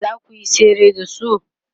zakuyi tsere da su?